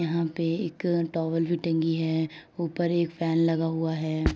यहां पे एक टावल भी टंगी है। ऊपर एक फैन लगा हुआ है।